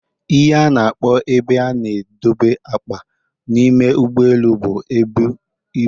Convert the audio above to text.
ihe a na-akpọ ebe a na-edobe akpa n'ime ụgbọelu bụ Ebu ibu